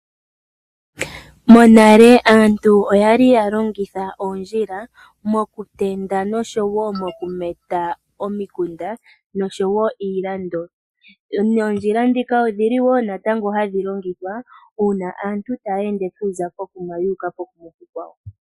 Monale aantu oyali ya longitha oondjila mokutenda noshowo mokumeta omikunda noshowo iilando. Noondjila ndhika odhili wo natango hadhi longithwa uuna aantu taya ende okuza pokuma yuuka pokuma okukwawo.